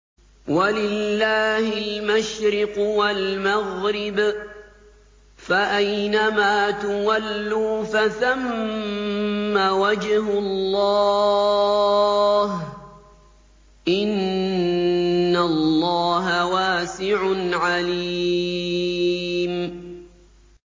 وَلِلَّهِ الْمَشْرِقُ وَالْمَغْرِبُ ۚ فَأَيْنَمَا تُوَلُّوا فَثَمَّ وَجْهُ اللَّهِ ۚ إِنَّ اللَّهَ وَاسِعٌ عَلِيمٌ